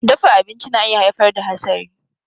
Dafa abinci na iya haifar da hasari.